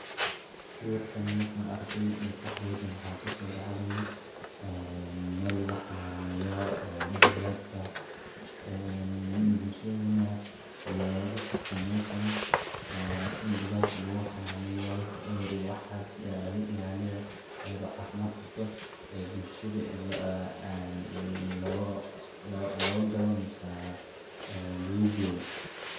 Sawirkan markan arkay misqaxdheydu maxaa ku soo dhacday, ah, meel wax xannaaneyo, ah, digaagta. Ah, bulshadna looga qabto meeshan, ah, in digaagta lagu xannaaneyo, wixii cudhur iyo waxas lagaga ilaaliyo, aydu caafimaad u qabto. Eh, bulshada lo, ah, ah, lo, loogaa galanaysa, ah, luugu geeyo.